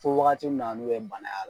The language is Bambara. Fo wagati mun na n'u ye bana y'a la.